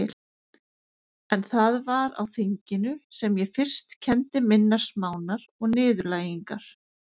En það var á þinginu sem ég fyrst kenndi minnar smánar og niðurlægingar.